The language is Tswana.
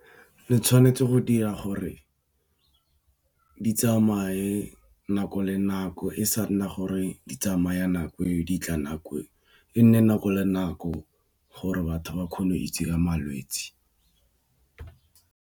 Le tshwanetse go dira gore di tsamaye nako le nako e sa nna gore di tsamaya nako eo di tla nako eo e nne nako le nako gore batho ba kgone go itse ka malwetse.